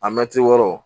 A mɛti wɔɔrɔ